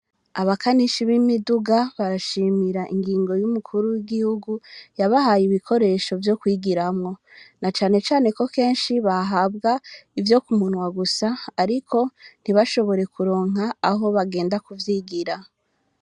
Abkanishi b'imiduga barashimira ingingo y'umukuru w'igihugu yabahaye ibikoresho vyo kwigiramwo na cane cane ko keshi bahabwa ivyo ku munwa gusa ariko ntibashobore ku ronka aho baja ku vyigira.